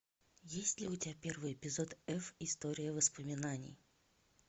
есть ли у тебя первый эпизод эф история воспоминаний